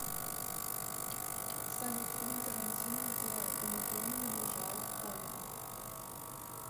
салют фильм торантино где уматурман лежала в коме